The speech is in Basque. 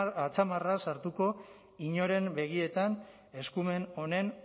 atzamarra sartuko inoren begietan eskumen honen